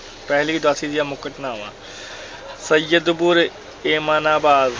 ਪਹਿਲੀ ਉਦਾਸੀ ਦੀਆਂ ਮੁੱਖ ਘਟਨਾਵਾਂ ਸੱਯਦਪੁਰ, ਏਮਨਾਬਾਦ